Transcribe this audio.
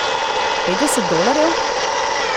Petdeset dolarjev?